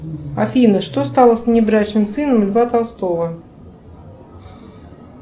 афина что стало с внебрачным сыном льва толстого